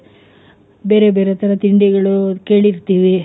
ಬೇರೆ ಬೇರೆ ತರ ತಿಂಡಿಗಳು ಕೇಳಿರ್ತೀವಿ,